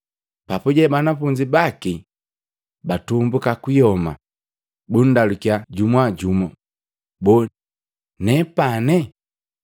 Papuje banafunzi baki batumbuka kuyoma, bundalukya jumujumu, “Boo, nepane?”